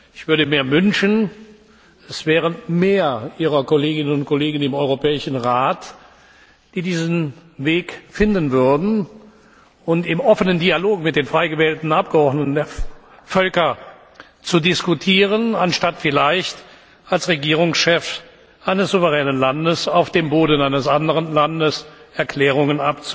Ich würde mir wünschen, es wären mehr Ihrer Kolleginnen und Kollegen im Europäischen Rat, die diesen Weg finden würden, um im offenen Dialog mit den frei gewählten Abgeordneten der Völker zu diskutieren, anstatt vielleicht als Regierungschef eines souveränen Landes auf dem Boden eines anderen Landes Erklärungen